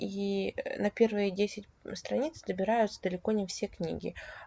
и на первые десять страниц добираю далеко не все книги